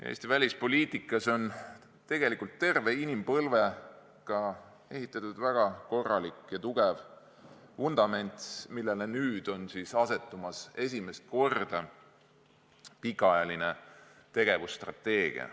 Eesti välispoliitikas on tegelikult terve inimpõlve jooksul ehitatud väga korralik ja tugev vundament, millele nüüd on asetumas esimest korda pikaajaline tegevusstrateegia.